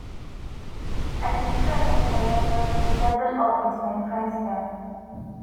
i dey try make i level level up wit my friends dem